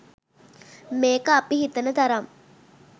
මේක අපි හිතන තරම්